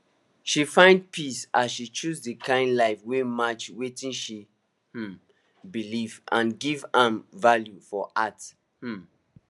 she find peace as she choose the kind life wey match wetin she um believe and give am value for heart um